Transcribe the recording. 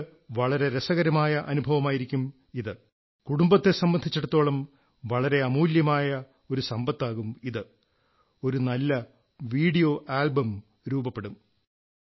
നിങ്ങൾക്ക് വളരെ രസകരമായ അനുഭവമായിരിക്കും ഇത് കുടുംബത്തെ സംബന്ധിച്ചിടത്തോളം വളരെ അമൂല്യമായ ഒരു സമ്പത്താകും ഇത് ഒരു നല്ല വീഡിയോ ആൽബം രൂപപ്പെടും